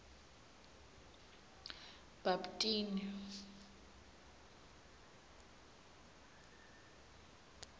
bhabtini